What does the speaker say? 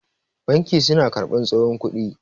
banki suna karbar tsohon kudi